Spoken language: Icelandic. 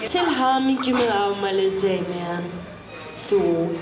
hamingju með afmælið Damian þú